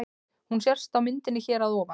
Hún sést á myndinni hér að ofan.